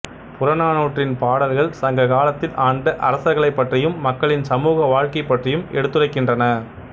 புறநானூற்றின் பாடல்கள் சங்ககாலத்தில் ஆண்ட அரசர்களைப் பற்றியும் மக்களின் சமூக வாழ்க்கை பற்றியும் எடுத்துரைக்கின்றன